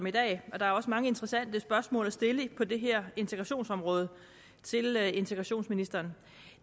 i dag der er også mange interessante spørgsmål at stille på det her integrationsområde til integrationsministeren